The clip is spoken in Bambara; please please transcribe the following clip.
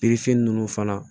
ninnu fana